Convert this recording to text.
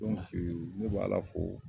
Don ne bɛ Ala fo.